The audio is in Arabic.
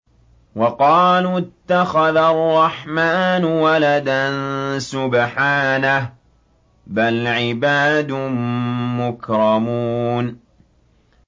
وَقَالُوا اتَّخَذَ الرَّحْمَٰنُ وَلَدًا ۗ سُبْحَانَهُ ۚ بَلْ عِبَادٌ مُّكْرَمُونَ